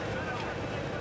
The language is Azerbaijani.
Qabağa gedirəm.